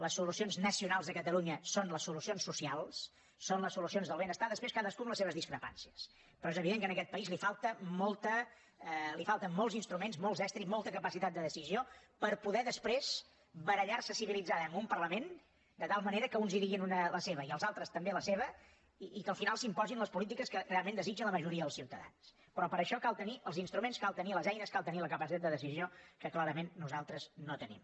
les solucions nacionals de catalunya són les solucions socials són les solucions del benestar després cadascú amb les seves discrepàncies però és evident que en aquest país li falten molts instruments molts estris molta capacitat de decisió per poder després barallar se civilitzadament en un parlament de tal manera que uns hi diguin la seva i els altres també la seva i que al final s’imposin les polítiques que realment desitja la majoria dels ciutadans però per això cal tenir els instruments cal tenir les eines cal tenir la capacitat de decisió que clarament nosaltres no tenim